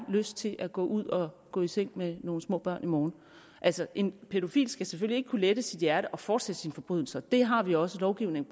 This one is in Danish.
lyst til at gå ud og gå i seng med nogle små børn i morgen altså en pædofil skal selvfølgelig ikke kunne lette sit hjerte og fortsætte sine forbrydelser det har vi også lovgivning